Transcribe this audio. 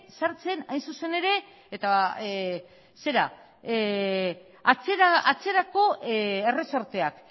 sartzen atzeranzko erresorteak